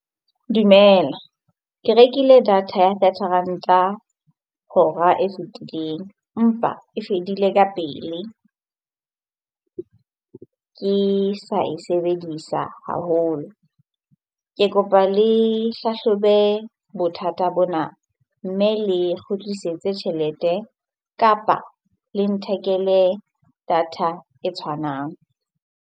Dumela. Ke rekile data ya thirty Ranta hora e fetileng empa e fedile ka pele ke sa e sebedisa haholo. Ke kopa le hlahlobe bothata bona mme le kgutlisetse tjhelete kapa le nthekele data e tshwanang.